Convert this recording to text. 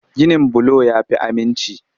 Ginin bulo ya fi aminci.